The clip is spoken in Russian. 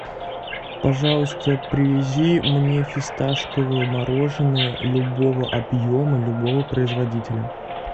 пожалуйста привези мне фисташковое мороженое любого объема любого производителя